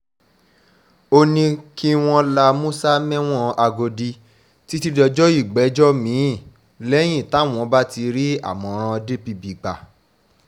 ó ní kí wọ́n la musa mẹ́wọ̀n àgòdì títí dọjọ́ ìgbẹ́jọ́ mi-ín lẹ́yìn táwọn bá ti rí àmọ̀ràn dpp gbà